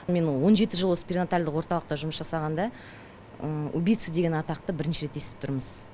мен он жеті жыл осы пернаталдық орталықта жұмыс жасағанда убица деген атақты бірінші рет естіп тұрмыз